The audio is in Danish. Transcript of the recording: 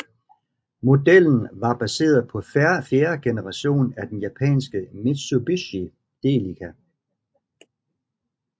Modellen var baseret på fjerde generation af den japanske Mitsubishi Delica